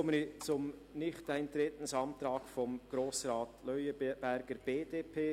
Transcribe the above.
Ich komme zum Nichteintretensantrag von Grossrat Leuenberger, BDP.